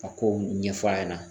Ka kow ɲɛfɔ a ɲɛna